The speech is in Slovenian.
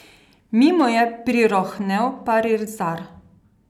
Mimo je prirohnel parizar.